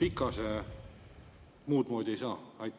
PIKAS-e muudmoodi ei saa?